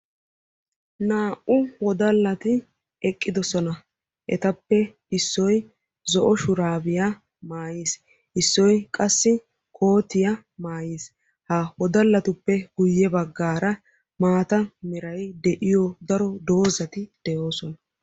Naa'u wodalatti eqqidosonna ettappe issoy zo'o shurabbiya maayin hankkoy qassi maatta mera maayuwa maayis. Etta matan doozzay de'ees.